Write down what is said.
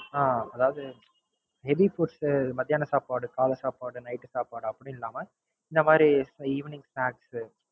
அஹ் அதாவது Heavy foods மதியானம் சாப்பாடு, காலைல சாப்பாடு, Night உ சாப்பாடு அப்படின்னு இல்லாம இந்த மாதிரி எர் Evening snacks